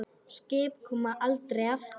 Skip koma aldrei aftur.